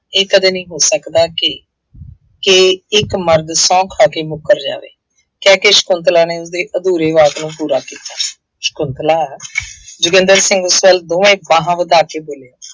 ਇਹ ਕਦੇ ਨਹੀਂ ਹੋ ਸਕਦਾ ਕਿ, ਕਿ ਇੱਕ ਮਰਦ ਸਹੁੰ ਖਾ ਕੇ ਮੁੱਕਰ ਜਾਵੇ, ਕਹਿ ਕੇ ਸ਼ੰਕੁਤਲਾ ਨੇ ਉਹਦੇ ਅਧੂਰੇ ਵਾਕ ਨੂੰ ਪੂਰਾ ਕੀਤਾ। ਸ਼ੰਕੁਤਲਾ ਜੋਗਿੰਦਰ ਸਿੰਘ ਕੋਲ ਦੋਹੇਂ ਬਾਹਾਂ ਵਧਾ ਕੇ ਬੋਲੇ।